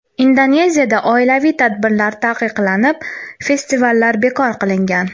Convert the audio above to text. Indoneziyada oilaviy tadbirlar taqiqlanib, festivallar bekor qilingan.